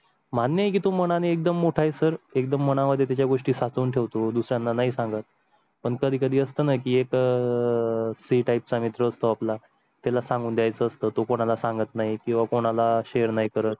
मान्य की तुम्हाला आणि एकदम मोठा आहे सर एकदम मना मध्ये त्या गोष्टी साठवून ठेवतो दुसऱ्यांनाही सागात, पण कधी कधी असताना ही एक अह सी type चा मित्र असतो. आपला त्याला सांगून द्यायचा असतो कोणा ला सांगत नाही किंवा कोणा ला शेर नाही करत हा.